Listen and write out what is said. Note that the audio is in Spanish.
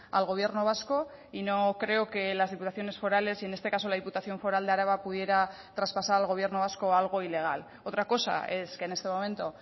al gobierno vasco y no creo que las diputaciones forales y en este caso la diputación foral de araba pudiera traspasar al gobierno vasco algo ilegal otra cosa es que en este momento